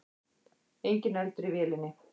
Enginn eldur í vélinni